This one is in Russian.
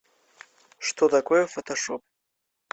что такое фотошоп